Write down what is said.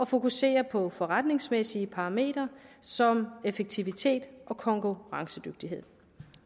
fokusere på forretningsmæssige parametre som effektivitet og konkurrencedygtighed